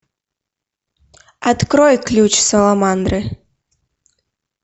открой ключ саламандры